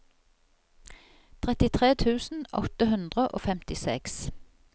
trettitre tusen åtte hundre og femtiseks